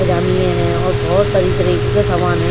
जामिया है और बहुत तरीके तरीके का सामान है।